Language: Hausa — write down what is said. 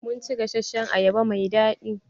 Mun ci gasashen ayaba mai daɗi.